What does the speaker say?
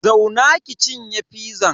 Zauna ki cinye fizan.